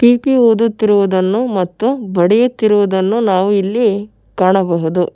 ಪೀಪಿ ಊದುತ್ತಿರುವುದನ್ನು ಮತ್ತು ಬಡಿಯುತ್ತಿರುವುದನ್ನು ನಾವು ಇಲ್ಲಿ ಕಾಣಬಹುದು.